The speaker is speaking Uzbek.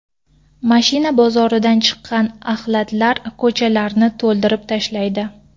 Mashina bozoridan chiqqan axlatlar ko‘chalarni to‘ldirib tashlaydi.